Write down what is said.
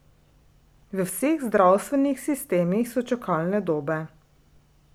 V vseh zdravstvenih sistemih so čakalne dobe.